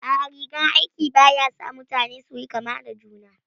A'a, rigar aiki ba ya sa mutane su yi kama da juna